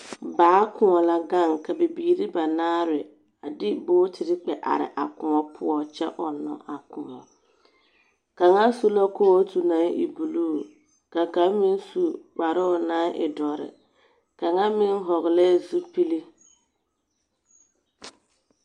Baa kõͻ la gaŋ, ka bibiiri banaare a de bogitiri kpԑ are a kõͻ poͻ kyԑ ͻnnͻ a kõͻ. Kaŋa su la kootu naŋ e buluu ka kaŋ meŋ su kparoo naŋ e dͻre, kaŋa meŋ vͻgelԑԑ zupili.